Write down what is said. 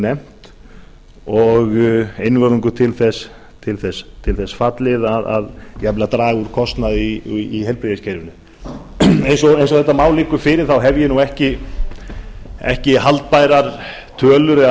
nefnt og einvörðungu til þess fallið jafnvel að draga úr kostnaði í heilbrigðiskerfinu eins og þetta mál liggur þá hef ég nú ekki haldbærar tölur eða